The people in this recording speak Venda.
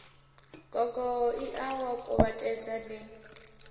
gogo ie wa kuvhatedza li